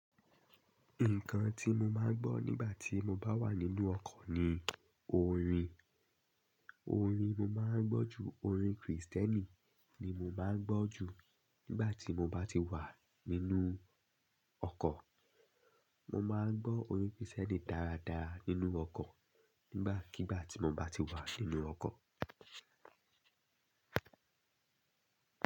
Nǹkan tí mo máa ń gbọ́ nígbà tí mo bá wà nínú ọkọ̀ ni orin. Orin mo máa ń gbọ́ ju orin Krìstẹ́nì ni mo máa ń gbọ́ ju nígbà tí mo bá ti wà nínú ọkọ̀. Mo máa ń gbọ́ orin Krìstẹ́nì dáradára nínú ọkọ̀ nígbàkigbà tí mo bá ti wà nínú ọkọ̀.